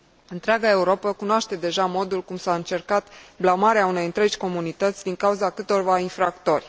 Întreaga Europă cunoaște deja modul cum s a încercat blamarea unei întregi comunități din cauza câtorva infractori.